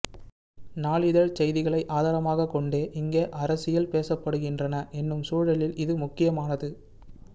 நாளிதழ்ச்செய்திகளை ஆதாரமாகக் கொண்டே இங்கே அரசியல் பேசப்படுகின்றன என்னும் சூழலில் இது மிக முக்கியமானது